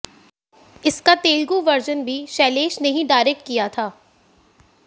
इसका तेलुगू वर्जन भी शैलेश ने ही डायरेक्ट किया था